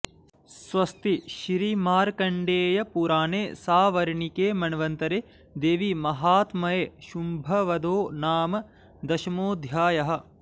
स्वस्ति श्रीमार्कण्डेयपुराणे सावर्णिके मन्वन्तरे देवीमाहात्म्ये शुम्भवधो नाम दशमोऽध्यायः